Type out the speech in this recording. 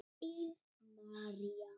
Þín, María.